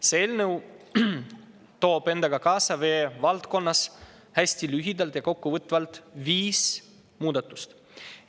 See eelnõu toob endaga kaasa vee valdkonnas – hästi lühidalt ja kokkuvõtvalt – viis muudatust.